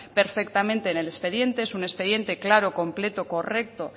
perfectamente en el expediente es un expediente claro completo correcto